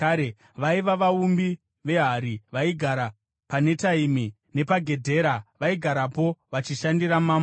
Vaiva vaumbi vehari vaigara paNetaimi nepaGedhera; vaigarapo vachishandira mambo.